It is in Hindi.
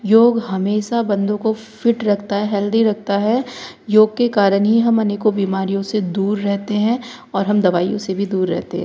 योग हमेशा बन्दों को फिट रखता है हेल्दी रखता है योग के कारण ही हम अनेकों बीमारियों से दूर रहते हैं और हम दवाइयों से भी दूर रहते --